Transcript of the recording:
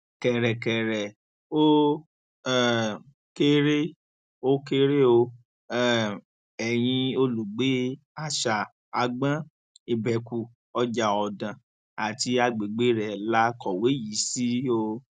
kẹrẹrẹ ó um kéré ó kéré o um ẹyìn olùgbé àṣà àgbọn ìbẹkù ọjàọdàn àti agbègbè rẹ la kọwé yìí sí o